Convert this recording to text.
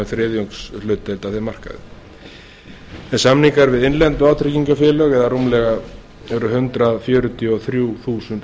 séu með um þriðjungshlutdeild af þeim markaði samningar við innlend vátryggingafélag eru hundrað fjörutíu og þrjú þúsund